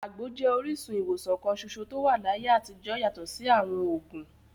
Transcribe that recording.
Àgbo jẹ́ orísun ìwòsàn kan ṣoṣo tó wà láyé àtijọ́ yàtọ̀ sí àwọn òògùn.